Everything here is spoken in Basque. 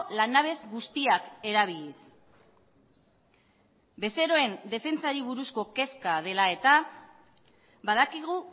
lanabes guztiak erabiliz bezeroen defentsari buruzko kezka dela eta badakigu